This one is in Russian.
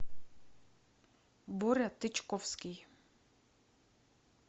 боря тычковский